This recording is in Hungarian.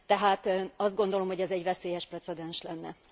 Tehát azt gondolom, hogy ez egy veszélyes precedens lenne.